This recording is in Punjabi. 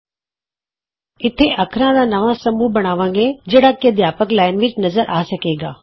ਇਥੇ ਅਸੀਂ ਅੱਖਰਾਂ ਦਾ ਨਵਾਂ ਸਮੂਹ ਬਣਾਵਾਂਗੇ ਜਿਹੜਾ ਕਿ ਅਧਿਆਪਕ ਲਾਈਨ ਵਿਚ ਨਜ਼ਰ ਆ ਸਕੇਗਾ